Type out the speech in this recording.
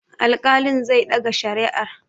Alƙalin zai ɗaga shari'ar.